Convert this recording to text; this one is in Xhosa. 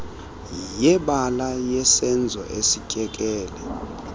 yebala yesenzo esityekele